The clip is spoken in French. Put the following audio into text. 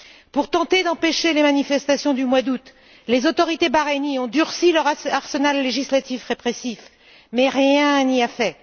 Pour tenter d'empêcher les manifestations du mois d'août, les autorités bahreïniennes ont durci leur arsenal législatif répressif mais rien n'y a fait.